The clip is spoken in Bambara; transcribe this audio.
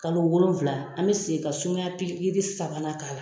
Kalo wolonfla an bɛ segin ka sumaya pikiri sabanan k'a la.